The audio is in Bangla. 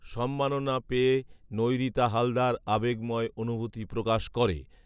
সম্মাননা পেয়ে নৈঋতা হালদার আবেগময় অনুভূতি প্রকাশ করে